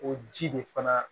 O ji de fana